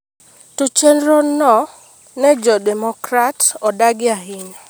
To chenrono ne jo Democrat odagi ahinya.